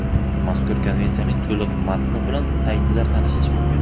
Mazkur Konvensiyaning to‘liq matni bilan saytida tanishish mumkin.